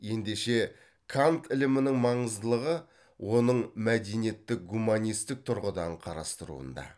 ендеше кант ілімінің маңыздылығы оның мәдениетті гуманистік тұрғыдан қарастыруында